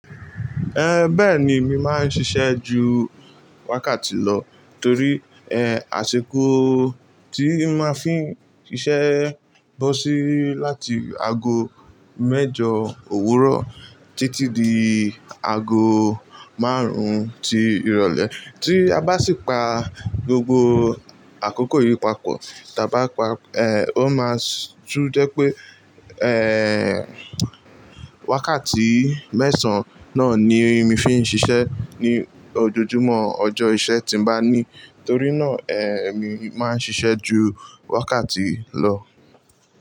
Ẹhẹ bẹẹni, èmi máa ń ṣiṣẹ́ ju wákàtí lọ torí ẹ́hn, àsìkò tí n màá fi ń ṣiṣẹ́ bọ́ sí láti ago mẹ́jọ òwúrọ̀ títí di ago márùn-ún ti ìrọ̀lẹ́. Tí a bá sì pa gbogbo àkókò yìí papọ̀, tà bá pa, ẹ́hn, ó máa~~ tú jẹ́ pé ẹhẹn~~, wákàtí mẹ́sàn-án náà ni èmi fi ń ṣiṣẹ́ ní ojojúmọ́ ọjọ́ iṣẹ́ tí màá ní. Torí náà, ẹhẹ́n, èmi máa ń ṣiṣẹ́ ju wákàtí lọ.